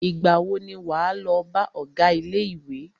Ìgbà wo ni wà á lọ bá ọgá ilé ìwé?